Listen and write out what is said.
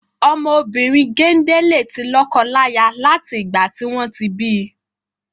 Ọmọ obìrin gende le ti lọ́kọ láyà lati igba tí wọn ti bi.